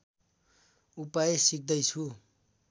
उपाय सिक्दैछु